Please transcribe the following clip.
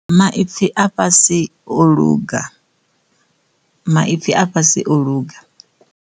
Maipfhi a fhasi o luga maipfhi a fhasi o luga.